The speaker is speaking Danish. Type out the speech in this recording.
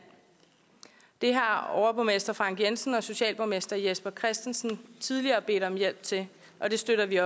det har overborgmester frank jensen og socialborgmester jesper christensen tidligere bedt om hjælp til og det støtter vi